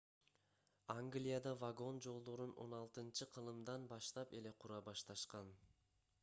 англияда вагон жолдорун 16-кылымдан баштап эле кура башташкан